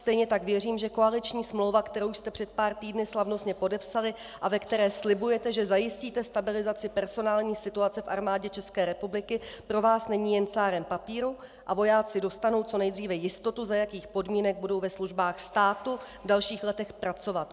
Stejně tak věřím, že koaliční smlouva, kterou jste před pár týdny slavnostně podepsali a ve které slibujete, že zajistíte stabilizaci personální situace v Armádě České republiky, pro vás není jen cárem papíru a vojáci dostanou co nejdříve jistotu, za jakých podmínek budou ve službách státu v dalších letech pracovat.